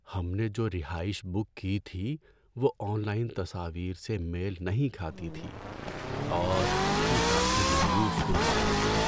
ہم نے جو رہائش بک کی تھی وہ آن لائن تصاویر سے میل نہیں کھاتی تھی اور یہ کافی مایوس کن بات تھی۔